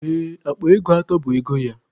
Ee, akpa ego atọ bụ ego ya.